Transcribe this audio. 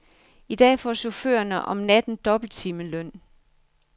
I dag får chaufførerne om natten dobbelt timeløn.